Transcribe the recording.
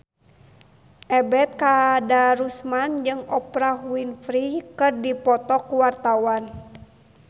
Ebet Kadarusman jeung Oprah Winfrey keur dipoto ku wartawan